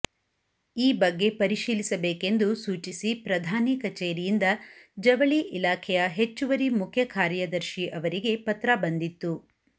ಈ ಬಗ್ಗೆ ಪರಿಶೀಲಿಸಬೇಕೆಂದು ಸೂಚಿಸಿ ಪ್ರಧಾನಿ ಕಚೇರಿಯಿಂದ ಜವಳಿ ಇಲಾಖೆಯ ಹೆಚ್ಚುವರಿ ಮುಖ್ಯ ಕಾರ್ಯದರ್ಶಿ ಅವರಿಗೆ ಪತ್ರ ಬಂದಿತ್ತು